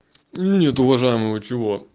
нет уважаемого чего